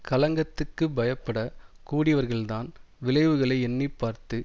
களங்கத்துக்குப் பயப்பட கூடியவர்கள்தான் விளைவுகளை எண்ணி பார்த்து